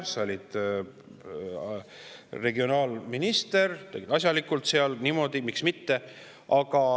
Sa olid seal minister asjalikult, miks mitte.